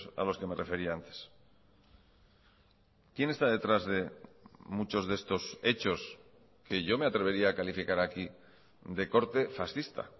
a los que me refería antes quién está detrás de muchos de estos hechos que yo me atrevería a calificar aquí de corte fascista